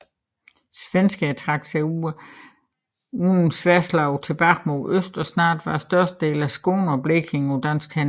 Svenskerne trak sig uden sværdslag tilbage mod øst og snart var størstedelen af Skåne og Blekinge på danske hænder